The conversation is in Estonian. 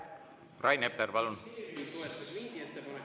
Rain Epler, palun!